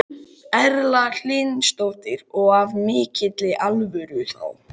Erla Hlynsdóttir: Og af mikilli alvöru þá?